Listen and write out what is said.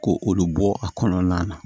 Ko olu bɔ a kɔnɔna na